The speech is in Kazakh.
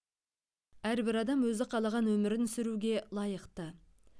әрбір адам өзі қалаған өмірін сүруге лайықты